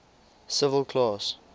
civil class